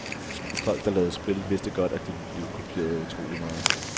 Folk der lavede spil, vidste godt, at de ville blive kopieret utrolig meget.